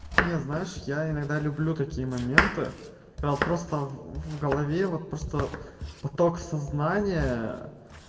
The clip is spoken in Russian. не знаешь я иногда люблю такие моменты когда просто в голове вот просто поток сознания